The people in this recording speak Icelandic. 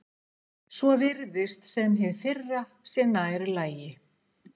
Svo virðist sem hið fyrra sé nærri lagi.